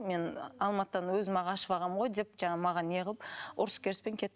мен алматыдан өзім ақ ашып алғанмын ғой деп жаңағы маған не қылып ұрыс керіспен кетті